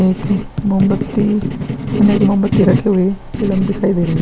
एक मोमबत्ती उने एक मोमबत्ती रखी हुई चिलम दिखाई दे रही है ।